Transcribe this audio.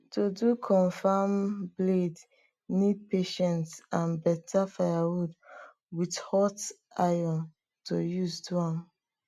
to do confam bladee need patience and better firewood with hot iron to use do am